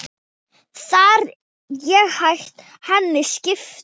Þegar ég hætti henni keypti